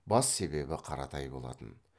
бас себебі қаратай болатын